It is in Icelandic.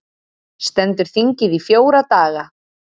Stendur þingið í fjóra daga